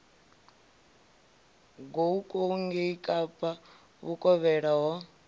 goukou ngei kapa vhukovhela ho